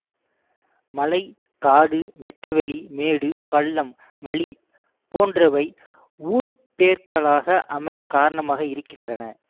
மலை காடு வெட்டவெளி மேடு பள்ளம் வழி போன்றவை ஊர்ப்பெயர்களாக அமைய காரணமாக இருக்கின்றன